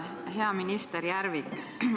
Hea minister Järvik!